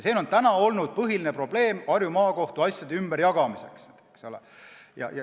See on olnud põhiline probleem Harju Maakohtu asjade ümberjagamisel.